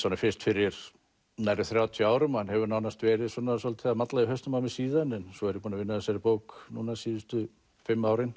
honum fyrst fyrir nærri þrjátíu árum hann hefur nánast verið svolítið að malla í hausnum á mér síðan svo er ég búinn að vinna að þessari bók síðustu fimm árin